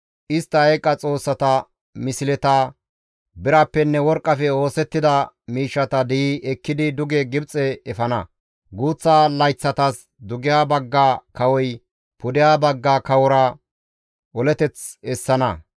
Istta eeqa xoossata misleta, birappenne worqqafe oosettida miishshata di7i ekkidi duge Gibxe efana; guuththa layththatas dugeha bagga kawoy pudeha bagga kawora oleteth essana.